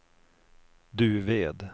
Duved